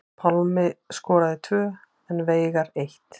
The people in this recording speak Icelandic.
Pálmi skoraði tvö og Veigar eitt